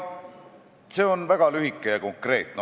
See on väga lühike ja konkreetne.